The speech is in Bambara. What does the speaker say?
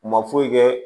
U ma foyi kɛ